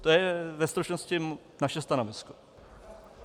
To je ve stručnosti naše stanovisko.